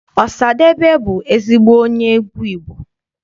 Ọsadebe bụ ezigbo onye egwu Igbo.